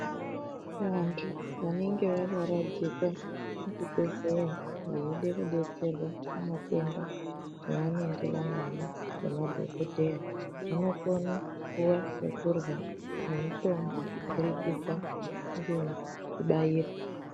Vantu vanenge vakaradzikwa muchibhedhleya veide kudetserwa pamatenda avanenge vanawo ngemadhokodheya vanokone kupuwe chekurya nemutombo kubudikidza ngekubairwa.